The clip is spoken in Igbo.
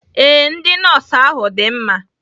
Ee, ndị nọọsụ ahu dị mma